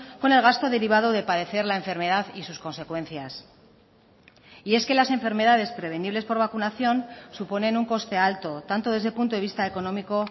con el gasto derivado de padecer la enfermedad y sus consecuencias y es que las enfermedades prevenibles por vacunación suponen un coste alto tanto desde el punto de vista económico